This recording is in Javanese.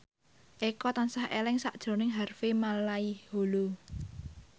Eko tansah eling sakjroning Harvey Malaiholo